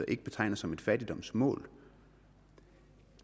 ikke betegner som et fattigdomsmål